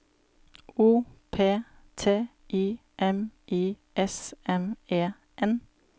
O P T I M I S M E N